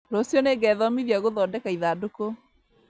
Rũciũ nĩngethomithia gũthondeka ithandũkũ